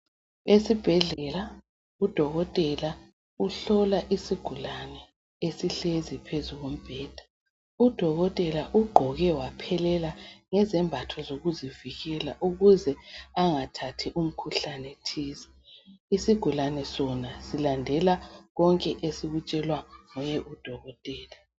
Esibhedlela udokotela uhlola isigulane esihlezi phezu kombheda udokotela ugqoke waphelela ngezambatho zokuzivikela ukuze angathathi umkhuhlane thize isigulane sona silandela konke esikutshelwa ngudokotela .